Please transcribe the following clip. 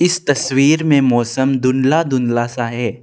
इस तस्वीर में मौसम धुंधला धुंधला सा है।